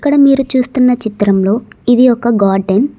మీరు చూస్తున్న చిత్రంలో ఇది ఒక గార్డెన్ .